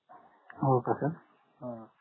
हो का sir